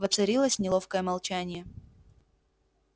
воцарилось неловкое молчание